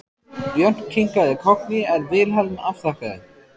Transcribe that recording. Björn kinkaði kolli en Vilhelm afþakkaði.